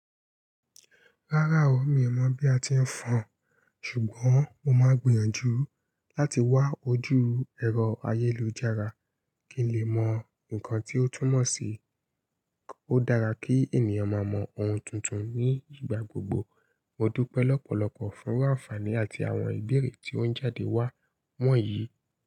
Rárá o, mi ò mọ̀ bí a ti ń fọn, ṣùgbọ́n mo máa gbìyànjú láti wá ojú ẹ̀rọ ayélujára kí n lè mọ nǹkan tí ó túmọ̀ sí. Ó dára kí ènìyàn máa mọ ohun tuntun ní ìgbà gbogbo, mo dúpẹ́ lọ́pọ̀lọpọ̀ fún ru áǹfàní àti àwọn ìbéèrè tí o ń jáde wá wọ̀nyí.